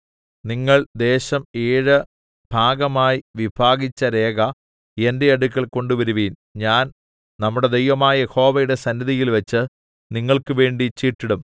നിങ്ങൾ ദേശം ഏഴു ഭാഗമായി വിഭാഗിച്ച രേഖ എന്റെ അടുക്കൽ കൊണ്ടുവരുവിൻ ഞാൻ നമ്മുടെ ദൈവമായ യഹോവയുടെ സന്നിധിയിൽവെച്ച് നിങ്ങൾക്കുവേണ്ടി ചീട്ടിടും